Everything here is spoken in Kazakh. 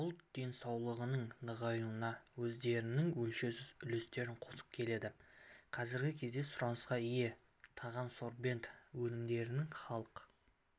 ұлт денсаулығының нығаюына өздерінің өлшеусіз үлестерін қосып келеді қазіргі кезде сұранысқа ие тағансорбент өнімдерінің халық